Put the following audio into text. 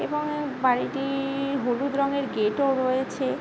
এবং বাড়িটি-র হলুদ রং এর গেট ও রয়েছে ।